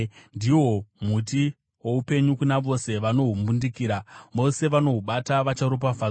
Ndihwo muti woupenyu kuna vose vanohumbundikira; vose vanohubata vacharopafadzwa.